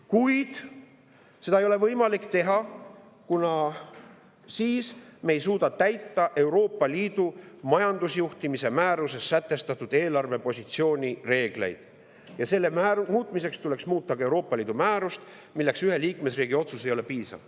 Kuid ei ole neid võimalik teha, kuna siis me ei suuda täita Euroopa Liidu majandusjuhtimise määruses sätestatud eelarvepositsiooni reegleid, nende muutmiseks tuleks muuta ka Euroopa Liidu määrust, milleks aga ühe liikmesriigi otsus ei ole piisav.